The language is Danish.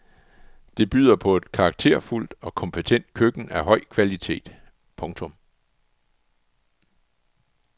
Det byder på et karakterfuldt og kompetent køkken af høj kvalitet. punktum